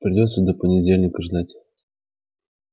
придётся до понедельника ждать